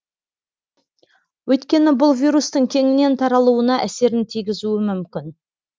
өйткені бұл вирустың кеңінен таралуына әсерін тигізуі мүмкін